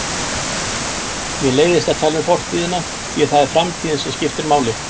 Mér leiðist að tala um fortíðina því það er framtíðin sem skiptir máli.